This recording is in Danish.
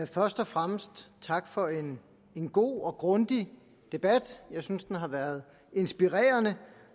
først og fremmest tak for en god og grundig debat jeg synes at den har været inspirerende